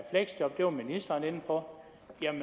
fleksjob som ministeren var inde for